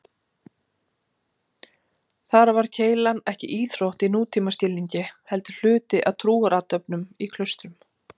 Þar var keilan ekki íþrótt í nútímaskilningi heldur hluti af trúarathöfnum í klaustrum.